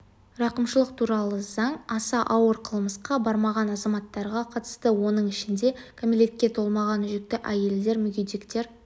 рақымшылық туралы заң аса ауыр қылмысқа бармаған азаматтарға қатысты оның ішінде кәмелетке толмағандар жүкті әйелдер мүгедектер